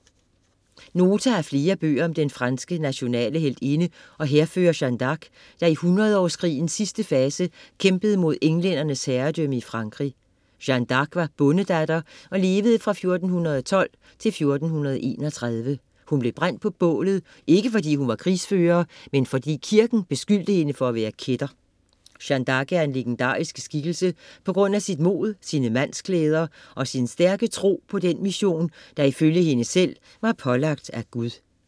Nota har flere bøger om den franske nationale heltinde og hærfører Jeanne d'Arc, der i Hundredårskrigen sidste fase kæmpede mod englændernes herredømme i Frankrig. Jeanne D´Arc var bondedatter og levede fra 1412 til 1431. Hun blev brændt på bålet, ikke fordi hun var krigsfører, men fordi kirken beskyldte hende for at være kætter. Jeanne D´arc er en legendarisk skikkelse på grund af sit mod, sine mandsklæder og sin stærke tro på den mission, der ifølge hende selv var pålagt af Gud.